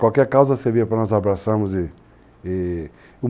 Qualquer causa servia para nós abraçarmos i-i